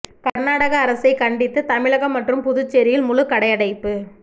கர்நாடக அரசை கண்டித்து தமிழகம் மற்றும் புதுச்சேரியில் முழு கடை அடைப்பு